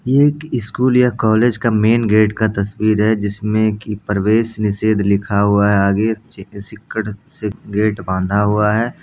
ये एक स्कूल या कॉलेज का मैंन गेट का तस्वीर है जिसमे की प्रवेश निषेध लिखा हुआ है आगे सिक्कड़ से गेट बांधा हुआ है ।